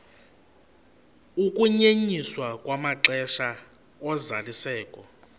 ukunyenyiswa kwamaxesha ozalisekiso